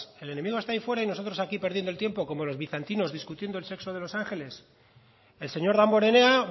el enemigo está ahí fuera y nosotros aquí perdiendo el tiempo como los bizantinos discutiendo el sexo de los ángeles el señor damborenea